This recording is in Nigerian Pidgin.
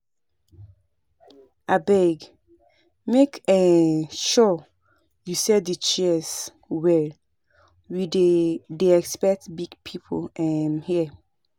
Abeg make um sure you set the chairs well we dey dey expect big people um here